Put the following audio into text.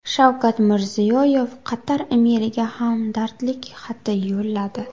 Shavkat Mirziyoyev Qatar amiriga hamdardlik xati yo‘lladi.